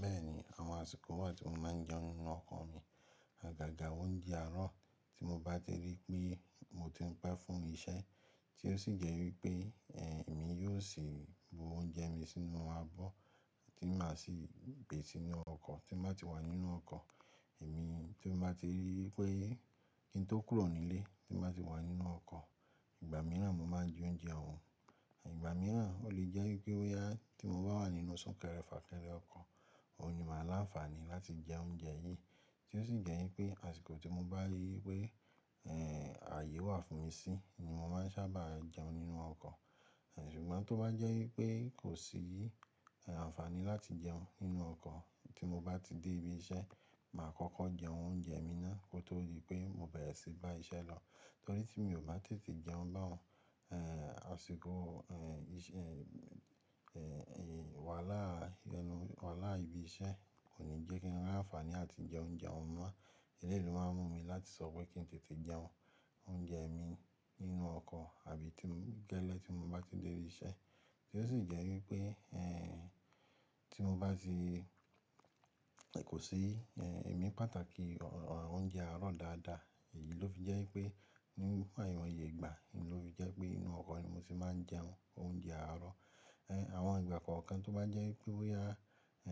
Bẹ́ẹ̀ni, àwọn àsìkò wà tí mo máa ń jẹun nínú ọkọ̀ mi. Àgàgà oúnjẹ àárọ̀ tí mo bá ti rí pé mo ti ń pe fún iṣẹ́ tí ó sì jẹ́ wípé, ẹ̀, èmi yóò sì bu oúnjẹ mi sínú abọ́ tí màá sì gbè sínú ọkọ̀ tí màá ti wà nínú ọkọ̀. Èmi tí mo bá ti rí pé kí n tó kúrò nílé, tí màá ti wà nínú ọkọ̀, ìgbà mìíràn mo máa ń jẹ oúnjẹ oun. Ìgbà mìíràn o lè jẹ́ wípé ó yá tí mo bá wà nínú súnkẹrẹ fàkẹrẹ ọkọ̀, mo ní màá láǹfààní láti jẹ oúnjẹ yìí tí ó sì jẹ́ wípé àsìkò tí mo bá rí i wípé, ẹ́ẹ́, ààyè wà fún mi sí ni mo máa ń sábà jẹun nínú ọkọ̀. Ṣùgbọ́n tó bá jẹ́ wípé kò sí, ẹ́ ẹ́, àǹfààní láti jẹun nínú ọkọ̀ tí mo bá ti dé ibi iṣẹ́, màá kọ́kọ́ jẹun oúnjẹ mi náà kó tó di pé mo bẹ̀rẹ̀ sí í bá iṣẹ́ lọ torí tí mi ò bá tètè jẹun bá 'un, ẹ́ẹ́, àsìkò, ẹ́ẹ́, iṣẹ́, ẹ́ẹ́, wàhálà ẹnu-- wàhálà ibi iṣẹ́ kò ní jẹ́ kí n láǹfààní láti jẹ oúnjẹ ọhun mọ́. Eléè lo máa ń mú mi láti sọ pé kí n tètè jẹun oúnjẹ mi nínú ọkọ̀ àbí tí mo gẹ́lẹ́ tí mo bá ti dé ibi iṣẹ́ tí ó sì jẹ́ wípé, ẹ́ẹ́, tí mo bá ti, kò sí, ẹ́ ẹ́, ẹ̀mí pàtàkì oúnjẹ àárọ̀ dáadáa. Èyí ló fi jẹ́ wípé ní ìwọnye ìgbà ni ó fi jẹ́ pé inú ọkọ̀ ni mo sì máa ń jẹun oúnjẹ àárọ̀. Ẹn, àwọn ìgbà kankan tó bá jẹ́ wípé ó yá,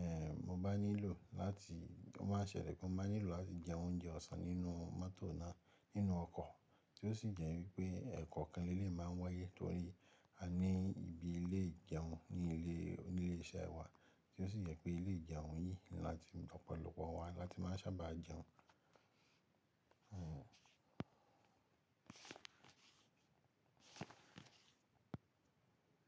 ẹ́ẹ́, mo bá nílò láti, ó má ṣẹ̀lẹ̀ pé mo má nílò láti jẹ oúnjẹ ọ̀sán nínú mọ́tò náà nínú ọkọ̀ tí ó sì jẹ́ wípé ẹ̀kọ̀kan lè lè máa ń wáyé torí a ní ibi ilè jẹun ní ilé, ní ilé iṣẹ́ wa tí ó sì jẹ́ pé ilé ìjẹun yìí ni láti ọ̀pọ̀lọpọ̀ wa láti máa ń sábà jẹun. Hmm.